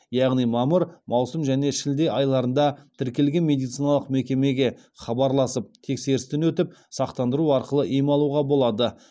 яғни мамыр маусым және шілде айларында тіркелген медициналық мекемеге хабарласып тексерістен өтіп сақтандыру арқылы ем алуға болады